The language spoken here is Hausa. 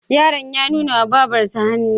Yaron ya nuna wa Babarsa hannu.